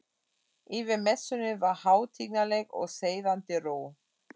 Yfir messunni var hátignarleg og seiðandi ró.